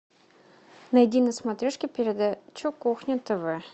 найди на смотрешке передачу кухня тв